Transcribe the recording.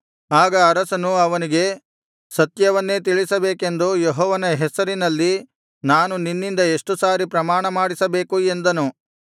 ಆಗ ಅರಸನು ಅವನಿಗೆ ಸತ್ಯವನ್ನೇ ತಿಳಿಸಬೇಕೆಂದು ಯೆಹೋವನ ಹೆಸರಿನಲ್ಲಿ ನಾನು ನಿನ್ನಿಂದ ಎಷ್ಟು ಸಾರಿ ಪ್ರಮಾಣ ಮಾಡಿಸಬೇಕು ಎಂದನು